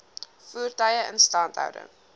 voertuie instandhouding